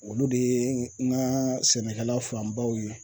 Olu de ye n ka sɛnɛkɛla fanbaw ye